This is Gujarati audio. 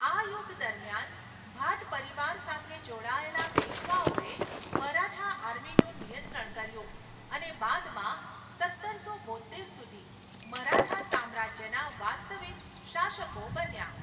આ યુગ દરમિયાન, ભાટ પરિવાર સાથે જોડાયેલા પેશવાઓએ મરાઠા આર્મીનું નિયંત્રણ કર્યું અને બાદમાં સત્તરસો બોત્તેર સુધી મરાઠા સામ્રાજ્યના વાસ્તવિક શાસકો બન્યા.